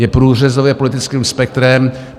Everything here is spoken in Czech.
Je průřezový politickým spektrem.